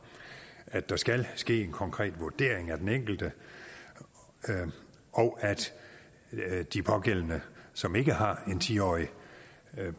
at der skal ske en konkret vurdering af den enkelte og at de pågældende som ikke har en ti årig